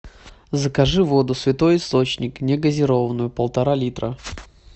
закажи воду святой источник не газированную полтора литра